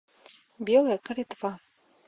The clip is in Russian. белая калитва